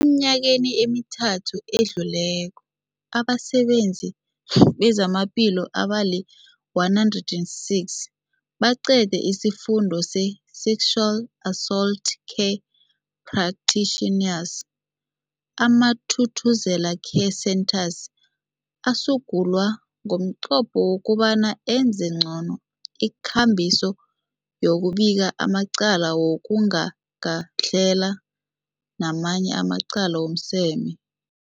Eminyakeni emithathu edluleko, abasebenzi bezamaphilo abali-106 baqede isiFundo se-Sexual Assault Care Practitioners. AmaThuthuzela Care Centres asungulwa ngomnqopho wokobana enze ngcono ikambiso yokubika amacala wokugagadlhela namanye amacala wezomseme.